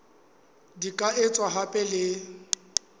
di ka etswa hape le